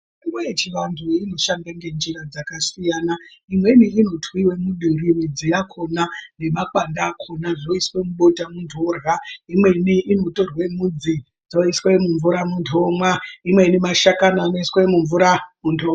Mitombo yechivanthu inoshanda ngenjirai dzakasiyana. Imweni inotwiwe muduri midzi yakhona nemakwande akhona zvoiswe mubota munthu orya. Imweni inotorwe midzi dzoiswa mumvura munthu omwa, imweni mashakani anosiswe mumvura munthu omwa.